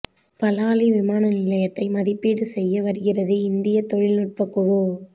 பலாலி விமான நிலையத்தை மதிப்பீடு செய்ய வருகிறது இந்திய தொழில்நுட்ப குழு